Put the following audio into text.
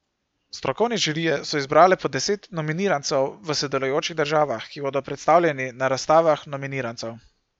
Strokovne žirije so izbrale po deset nominirancev v sodelujočih državah, ki bodo predstavljeni na razstavah nominirancev.